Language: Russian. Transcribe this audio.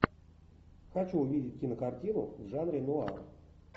хочу увидеть кинокартину в жанре нуар